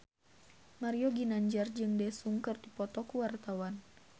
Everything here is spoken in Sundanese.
Mario Ginanjar jeung Daesung keur dipoto ku wartawan